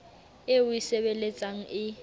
eo o e sebeletsang e